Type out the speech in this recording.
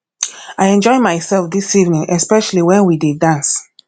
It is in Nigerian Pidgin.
i enjoy myself dis evening especially wen we dey dance